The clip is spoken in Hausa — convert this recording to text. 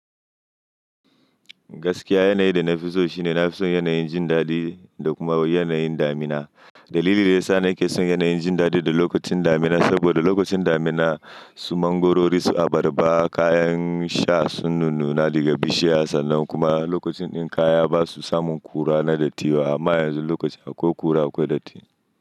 Gaskiya yanayi da na fi so shine na fi son yanayin jin daɗi da kuma yanayin damina. Dalili da ya sa na ke son yanayin jin daɗi da lokacin damina saboda lokacin damina su mangorori su abarba kayan sha sun nunnuna daga bishiya sannan kuma lokacin din kaya ba su samun kura na datti ba amma yanzu lokaci akwai kura akwai datti.